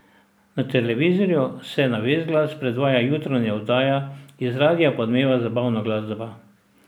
Na televizorju se na ves glas predvaja jutranja oddaja, iz radia pa odmeva zabavna glasba.